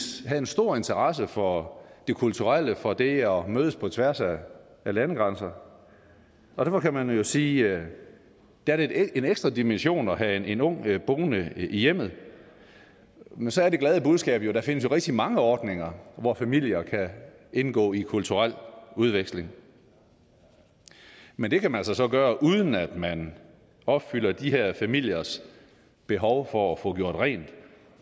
havde en stor interesse for det kulturelle for det at mødes på tværs af landegrænser og derfor kan man jo sige at det er en ekstra dimension at have en ung boende i hjemmet men så er det glade budskab jo at der findes rigtig mange ordninger hvor familier kan indgå i kulturel udveksling men det kan man altså så gøre uden at man opfylder de her familiers behov for at få gjort rent